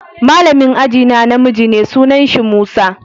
Malamin ajie na na miji ne, sunan shi Musa.